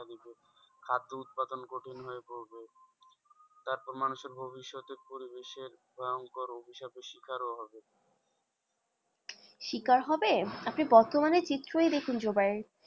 খাদ্য উৎপাদন কঠিন হয়ে পড়বে তারপর মানুষের ভবিষ্যতের পরিবেশের ভয়ঙ্কর অভিশাপের শিকারও হবে শিকার হবে আপনি বর্তমানের চিত্রই দেখুন জুবাই।